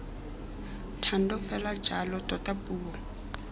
thando fela jalo tota puo